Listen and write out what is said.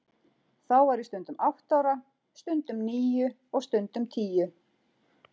Þá var ég stundum átta ára, stundum níu og stundum tíu.